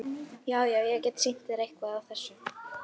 Já, já- ég get sýnt þér eitthvað af þessu.